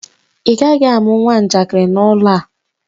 Ị gaghị amụ nwa njakịrị n'ụlọ a!